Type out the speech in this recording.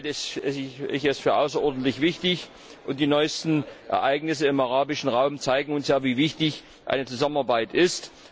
Deshalb halte ich dies für außerordentlich wichtig, und die neuesten Ereignisse im arabischen Raum zeigen uns, wie wichtig eine Zusammenarbeit ist.